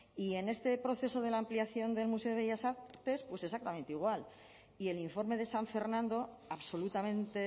y en este proceso de la ampliación del museo de bellas artes pues exactamente igual y el informe de san fernando absolutamente